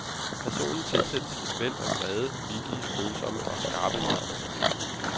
Personen tilsættes et væld af vrede, vittige, følsomme og skarpe nuancer.